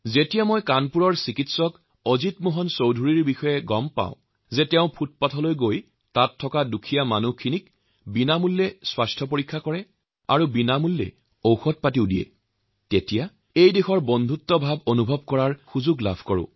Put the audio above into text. যেতিয়া মই কানপুৰৰ ডা অজিত মোহন চৌধুৰীৰ কাহিনী শুনো যে তেওঁ পদপথে পদপথে ঘুৰি পদপথৰ বসবাস কৰা ভাইভনীসকলৰ চিকিৎসা কৰে আৰু বিনামূলীয়াকৈ ঔষুধো দিয়েতেতিয়াই এই দেশৰ সহমৰ্মিতা আৰু মনুষ্যত্বক লৈ গৌৰৱ বোধ হয়